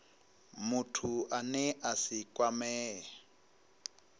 muthu ane a si kwamee